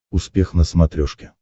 успех на смотрешке